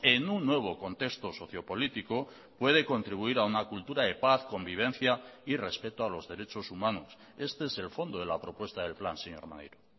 en un nuevo contexto socio político puede contribuir a una cultura de paz convivencia y respeto a los derechos humanos este es el fondo de la propuesta del plan señor maneiro